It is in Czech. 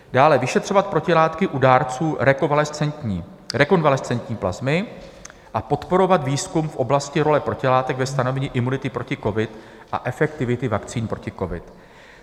Dále vyšetřovat protilátky u dárců rekonvalescentní plazmy a podporovat výzkum v oblasti role protilátek ve stanovení imunity proti covidu a efektivity vakcín proti covidu.